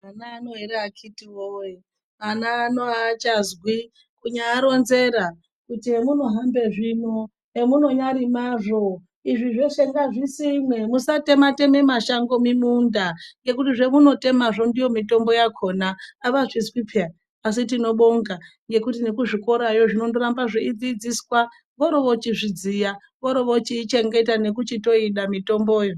Ana ano akhiti woye, ana ano achazwi kunyaronzera kuti hemunohambe zvino emunonyarimazvo izvi zveshe ngazvisimwe musate-tema mashango muminda ngekuti zvamunotemazvi ndiyo mitombo yakhona avazvizwi peya asi tinobonga ngekuti kuzvikorayo zvinondoramba zveidzidziswa voro vochizvidziya vorovochiichengeta nekuchitoida mitomboyo.